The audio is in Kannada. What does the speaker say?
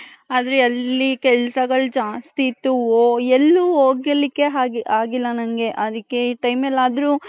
ಆದ್ರೆ ಅಲ್ಲಿ ಕೆಲಸಗಳು ಜ್ಯಾಸ್ತಿ ಇತ್ತು ಎಲ್ಲೂ ಹೊಗಿಲಿಕ್ಕೆ ಆಗಿಲ್ಲ ನಂಗೆ ಅದಿಕ್ಕೆ ಈ time ಎಲ್ಲಾದರು .